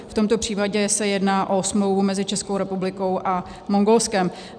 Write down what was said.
V tomto případě se jedná o smlouvu mezi Českou republikou a Mongolskem.